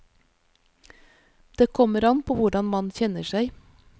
Det kommer an på hvordan man kjenner seg.